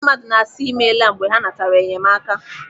Ndị mmadụ na-asị 'ịmela' mgbe ha natara enyemaka.